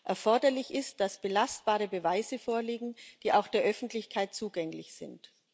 Erforderlich ist, dass belastbare Beweise vorliegen, die auch der Öffentlichkeit zugänglich sind.